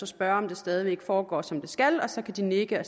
spørge om det stadig væk foregår som det skal og så kan de nikke og